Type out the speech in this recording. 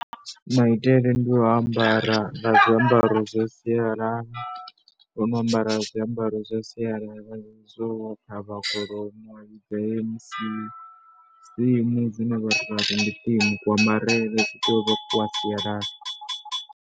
Maitele ndi a u ambara nga zwiambaro zwa sialala, ndi a u ambara zwiambaro theme dzine vhathu vha ri ndi theme, kuambarele konoku kwa sialala.